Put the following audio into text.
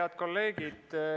Head kolleegid!